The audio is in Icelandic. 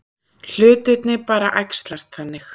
Hlutirnir bara æxlast þannig.